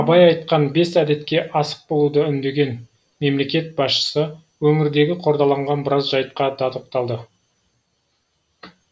абай айтқан бес әдетке асық болуды үндеген мемлекет басшысы өңірдегі қордаланған біраз жайтқа да тоқталды